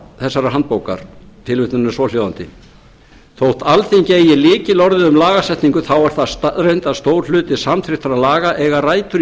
þessarar handbókar tilvitnunin er svohljóðandi þótt alþingi eigi lykilorðið um lagasetningu þá er það reyndar að stór hluti samþykktra laga eiga rætur í